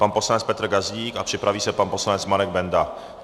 Pan poslanec Petr Gazdík a připraví se pan poslanec Marek Benda.